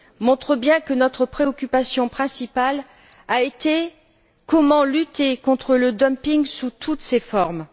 montre bien que notre préoccupation principale a été la manière de lutter contre le dumping sous toutes ses formes.